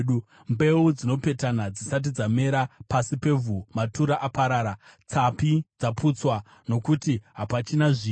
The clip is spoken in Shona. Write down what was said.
Mbeu dzinopetana dzisati dzamera pasi pevhu, matura aparara, tsapi dzaputswa nokuti hapachina zviyo.